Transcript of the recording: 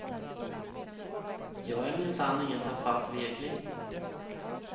Jag är minsann ingen tafatt vekling.